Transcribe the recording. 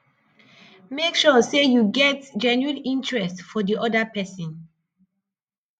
make sure sey you get genuine interest for di oda person